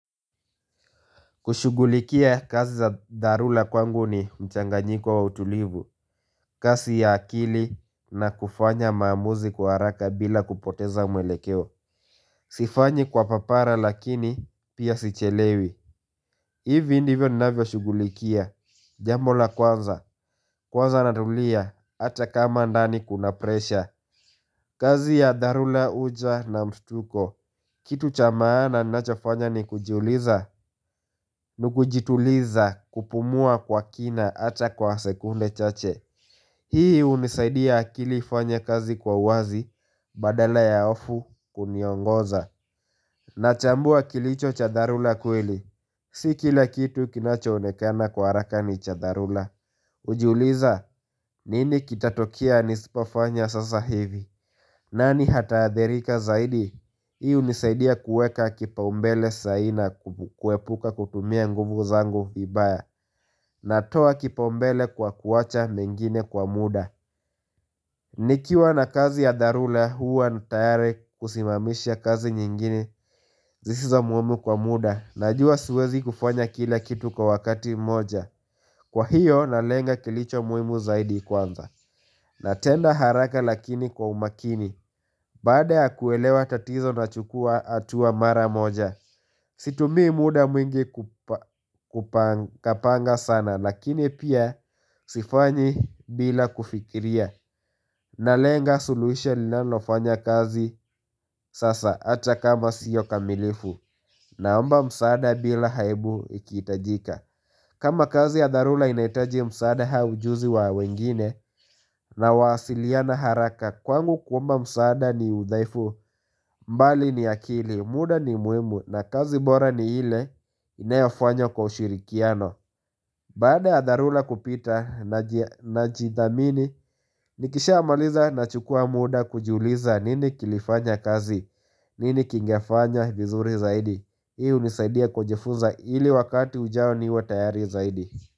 Kushughulikia kazi za dharula kwangu ni mchanganyiko wa utulivu kazi ya akili na kufanya maamuzi kwa haraka bila kupoteza mwelekeo Sifanyi kwa papara lakini pia sichelewi hivi ndivyo ninavyo shughulikia Jambo la kwanza Kwanza natulia Hata kama ndani kuna presha kazi ya darula huja na mstuko Kitu cha maana ninachofanya ni kujiuliza Nikujituliza kupumua kwa kina Hata kwa sekunde chache Hii hunisaidia akili fanya kazi kwa wazi Badala ya hofu kuniongoza na chambua kilicho cha dharula kweli Si kila kitu kinachoonekana kwa haraka ni cha dharula hujiuliza nini kitatokea nisipofanya sasa hivi nani hata adhirika zaidi Hii hunisaidia kuweka kipaumbele sai na kuepuka kutumia nguvu zangu vibaya na toa kipau mbele kwa kuwacha mengine kwa muda Nikiwa na kazi ya dharula huwa na tayari kusimamisha kazi nyingine Zisiza muhimu kwa muda Najua siezi kufanya kila kitu kwa wakati moja Kwa hiyo na lenga kilicho muhimu zaidi kwanza na tenda haraka lakini kwa umakini Baada ya kuelewa tatizo nachukua hatua mara moja Situmii muda mwingi kupanga sana Lakini pia sifanyi bila kufikiria na lenga suluisho linanofanya kazi sasa Acha kama sio kamilifu na ambayo msaada bila aibu ikihitajika kama kazi ya dharula inahitaji msaada au ujuzi wa wengine Nawasiliana haraka Kwangu kuomba msaada ni udhaifu mbali ni akili, muda ni muhimu na kazi bora ni ile inayofanya kwa ushirikiano Baada ya dharula kupita n jidhamini, nikisha amaliza na chukua muda kujiuliza nini kilifanya kazi, nini kingefanya vizuri zaidi. Hii hunisaidia kujifuza ili wakati ujao ni wa tayari zaidi.